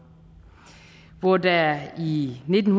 hvor der i nitten